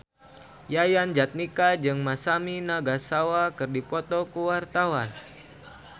Yayan Jatnika jeung Masami Nagasawa keur dipoto ku wartawan